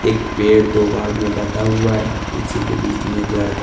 एक पेड़ दो भाग में बटा हुआ है उसी के बीच में एक लड़का--